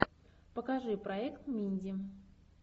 покажи проект минди